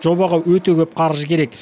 жобаға өте көп қаржы керек